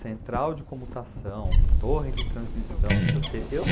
Central de comutação, torre de transmissão, não sei o quê. Eu